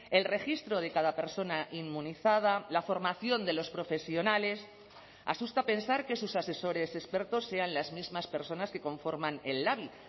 el registro de cada persona inmunizada la formación de los profesionales asusta pensar que sus asesores expertos sean las mismas personas que conforman el labi